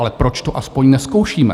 Ale proč to aspoň nezkoušíme?